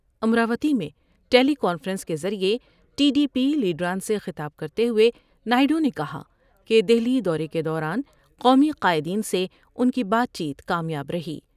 امراوتی میں teleconference کے ذریعے ٹی ڈی پی لیڈران سے خطاب کرتے ہوۓ نائیڈو نے کہا کہ دہلی دورے کے دوران قومی قائدین سے ان کی بات چیت کامیاب رہی ۔